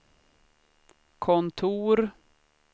kontor